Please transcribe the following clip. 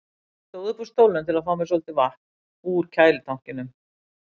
og stóð upp úr stólnum til að fá mér svolítið vatn úr kælitankinum.